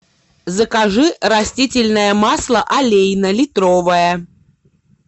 закажи растительное масло олейна литровое